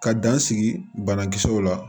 Ka dan sigi banakisɛw la